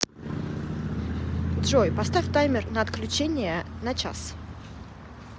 джой поставь таймер на отключение на час